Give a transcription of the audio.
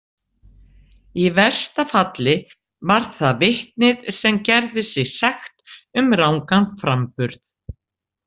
Í versta falli var það vitnið sem gerði sig sekt um rangan framburð.